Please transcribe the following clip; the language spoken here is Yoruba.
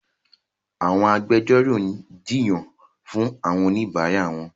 Àwọn agbẹjọ́rò ń jiyàn fún àwọn oníbàárà wọn.